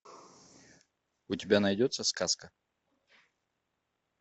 у тебя найдется сказка